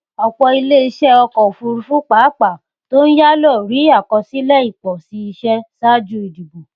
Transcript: ọpọ ilé iṣẹ ọkọ òfurufú pàápàá tó ń yálò rí àkọsílẹ ìpòsí iṣẹ ṣáájú ìdìbò